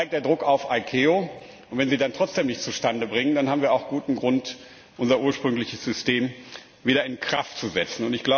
Dann steigt der Druck auf die ICAO, und wenn sie dann trotzdem nichts zustande bringt, dann haben wir auch guten Grund, unser ursprüngliches System wieder in Kraft zu setzen.